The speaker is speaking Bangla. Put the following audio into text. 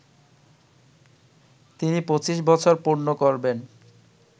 তিনি ২৫ বছর পূর্ণ করবেন